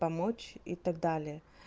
помочь и так далее